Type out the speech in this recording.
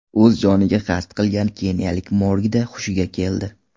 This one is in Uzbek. O‘z joniga qasd qilgan keniyalik morgda hushiga keldi.